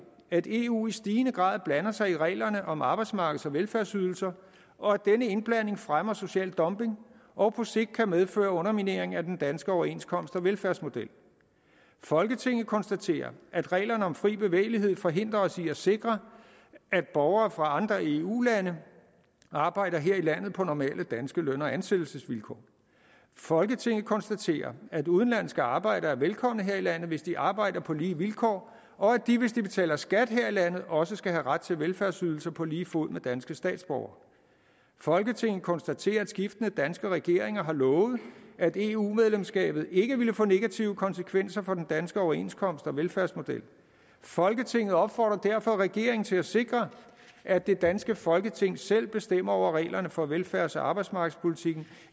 at eu i stigende grad blander sig i reglerne om arbejdsmarkeds og velfærdsydelser og at denne indblanding fremmer social dumping og på sigt kan medføre underminering af den danske overenskomst og velfærdsmodel folketinget konstaterer at reglerne om fri bevægelighed forhindrer os i at sikre at borgere fra andre eu lande arbejder her i landet på normale danske løn og ansættelsesvilkår folketinget konstaterer at udenlandske arbejdere er velkomne her i landet hvis de arbejder på lige vilkår og at de hvis de betaler skat her i landet også skal have ret til velfærdsydelser på lige fod med danske statsborgere folketinget konstaterer at skiftende danske regeringer har lovet at eu medlemskabet ikke ville få negative konsekvenser for den danske overenskomst og velfærdsmodel folketinget opfordrer derfor regeringen til at sikre at det danske folketing selv bestemmer over reglerne for velfærds og arbejdsmarkedspolitikken